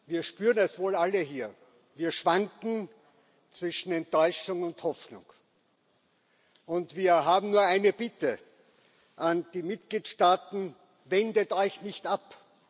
Wir spüren es wohl alle hier Wir schwanken zwischen Enttäuschung und Hoffnung, und wir haben nur eine Bitte an die Mitgliedstaaten Wendet euch nicht ab!